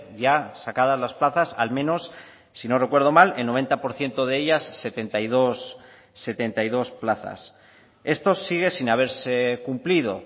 ya sacadas las plazas al menos si no recuerdo mal el noventa por ciento de ellas setenta y dos plazas esto sigue sin haberse cumplido